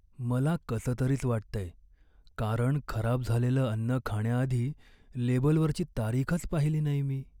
मला कसंतरीच वाटतंय, कारण खराब झालेलं अन्न खाण्याआधी लेबलवरची तारीखच पाहिली नाही मी.